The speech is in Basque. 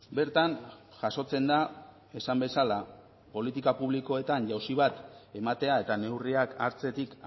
bertan jasotzen da esan bezala politika publikoetan jauzi bat ematea eta neurriak hartzetik